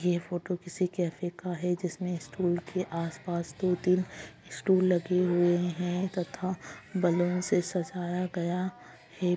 ये फोटो किसी कैफे का है जिसमे स्टूल के आस-पास दो-तीन स्टूल लगे हुए हैं तथा बलून से सजाया गया है|